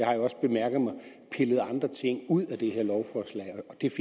har jeg også bemærket pillet andre ting ud af det her lovforslag